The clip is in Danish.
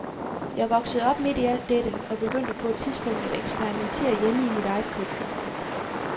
Jeg voksede op midt i alt dette, og begyndte på et tidspunkt at eksperimentere hjemme i mit eget køkken.